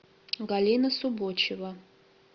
галина субочева